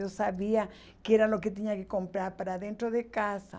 Eu sabia que era o que tinha que comprar para dentro de casa.